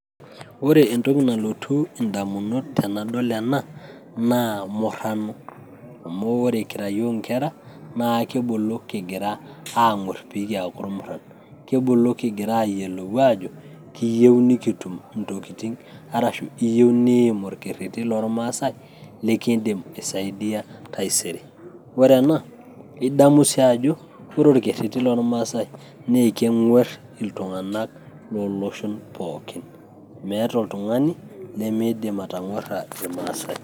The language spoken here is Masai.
Ore entoki nalotu indamunot tenadol ena, naa murrano. Amu ore kira yiook inkera, na kibulu kigira aang'or pe kiaku irmurran. Kibulu kigira ayiolou ajo, kiyieu nikitum intokiting' arashu iyieu niim orkerrerri lol maasai, likiidim aisaidia taisere. Ore ena idamu si ajo,0re orkerrerri lormasai na keng'uer iltung'anak loloshon pookin. Meeta oltung'ani limiidim atang'uarra kimaasai.